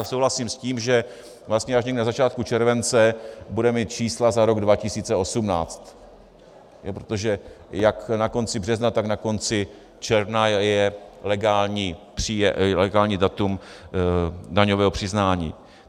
A souhlasím s tím, že vlastně až někdy na začátku července budeme mít čísla za rok 2018, protože jak na konci března, tak na konci června je legální datum daňového přiznání.